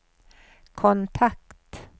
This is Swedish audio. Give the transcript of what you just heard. kontakt